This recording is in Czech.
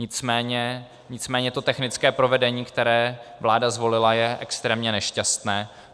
Nicméně to technické provedení, které vláda zvolila, je extrémně nešťastné.